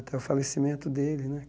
Até o falecimento dele, né?